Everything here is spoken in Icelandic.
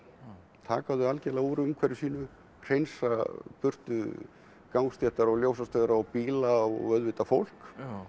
taka þau algjörlega úr umhverfi sínu hreinsa burtu gangstéttar og ljósastaura og bíla og auðvitað fólk